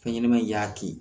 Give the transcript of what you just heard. Fɛn ɲɛnɛma in y'a kin